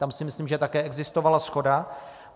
Tam si myslím, že také existovala shoda.